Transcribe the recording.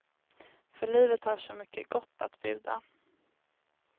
För livet har så mycket gott att bjuda.